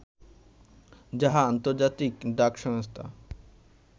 যাহা ‘আন্তর্জাতিক ডাক সংস্থা’